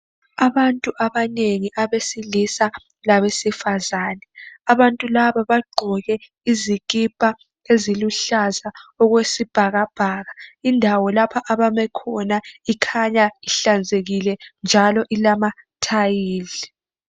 Abantu abanengi abesilisa labesifazane abantu laba bagqoke izikipa eziluhlaza okwesibhakabhaka. Indawo lapho ababekhona ikhanya ihlanzekile njalo ilamathayili.